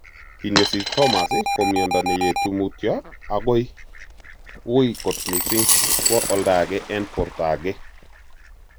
Pineocytomas ko miondo ne yetu mutyo agoi ui kot mising kwo oldage en porto age.